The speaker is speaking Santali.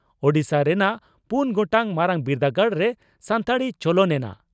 ᱳᱰᱤᱥᱟ ᱨᱮᱱᱟᱜ ᱯᱩᱱ ᱜᱚᱴᱟᱝ ᱢᱟᱨᱟᱝ ᱵᱤᱨᱫᱟᱹᱜᱟᱲᱨᱮ ᱥᱟᱱᱛᱟᱲᱤ ᱪᱚᱞᱚᱱ ᱮᱱᱟ